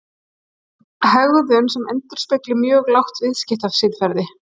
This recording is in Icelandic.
Hegðun sem endurspegli mjög lágt viðskiptasiðferði